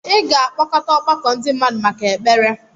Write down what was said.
ị ga-akpọkọta ọgbakọ ndị mmadụ maka ekpere